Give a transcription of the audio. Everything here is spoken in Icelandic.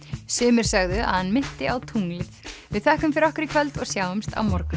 sumir sögðu að hann minnti á tunglið við þökkum fyrir okkur í kvöld og sjáumst á morgun